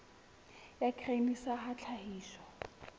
ya grain sa ya tlhahiso